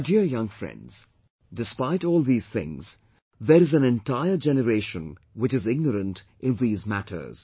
My dear young friends, despite all these things, there is an entire generation which is ignorant in these matters